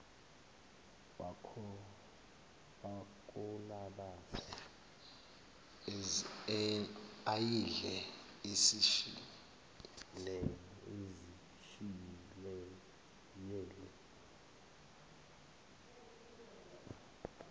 wakolabase ayidle izishiyele